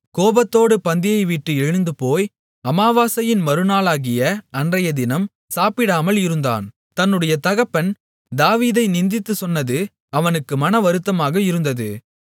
கோபத்தோடு பந்தியைவிட்டு எழுந்துபோய் அமாவாசையின் மறுநாளாகிய அன்றையதினம் சாப்பிடாமல் இருந்தான் தன்னுடைய தகப்பன் தாவீதை நிந்தித்துச் சொன்னது அவனுக்கு மனவருத்தமாக இருந்தது